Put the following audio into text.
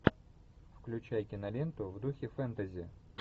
включай киноленту в духе фэнтези